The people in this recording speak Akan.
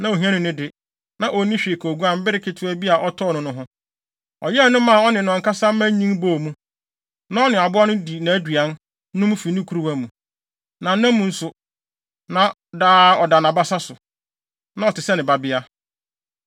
ohiani no de, na onni hwee ka oguan bere ketewa bi a ɔtɔɔ no no ho. Ɔyɛn no maa ɔne ɔno ankasa mma nyin bɔɔ mu. Na ɔne aboa no di nʼaduan, nom fi ne kuruwa mu, na nna mu nso, na daa ɔda nʼabasa so. Na ɔte sɛ ne babea.